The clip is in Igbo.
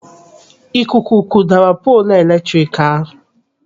Ikuku kụdara poolu eletrik ahụ.